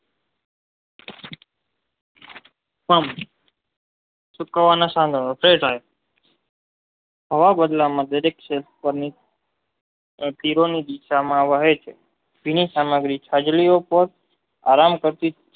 પણ સુકાવાના સામે તે ધાર હવા વડલાના દરેક ક્ષેત્રની અધીરોની દિશામાં વહે છે તેને સમાહિક સાગરીઓકો આરામ કરતી